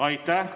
Aitäh!